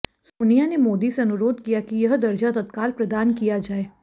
सोनिया ने मोदी से अनुरोध किया कि यह दर्जा तत्काल प्रदान किया जाए